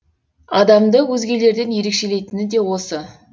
адамды өзгелерден ерекшелейтіні де осы